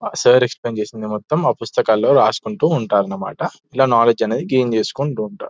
Sir explain చేసింది మొత్తం ఆ పుస్తకాల్లో రాసుకుంటూ ఉంటారు అన్నమాట ఇలా నాలెడ్జ్ అనేది గైన్ చేసుకుంటూ ఉంటారు.